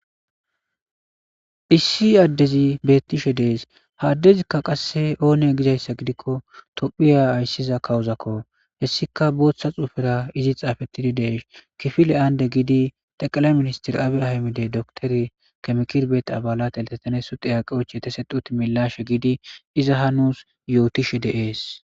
issi addezi beettishe dees ha addezikka qasse oone gizayssa gidikko tophiya ayssiza kawuzakko hessika booththa xuufera izi xaafettidi deesh kifile aande giidi taqala ministir aabi ahamide doktori kamkirbeee abalateleteteeso xiyaqeoch yetesexuti milashe giidi iza ha nuus yootishe de'ees